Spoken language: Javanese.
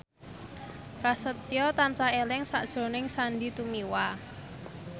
Prasetyo tansah eling sakjroning Sandy Tumiwa